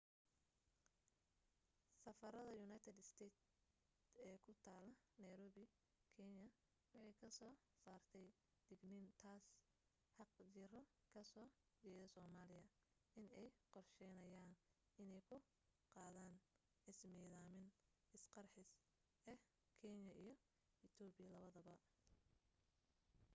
safarada united states ee ku tala nairobi kenya waxay ka soo saartay digniin taas xaqjiro ka soo jeeda somaliya in ay qorsheynaya inay ku qadan ismidamin isqarxis ah kenya iyo ethopia labadaba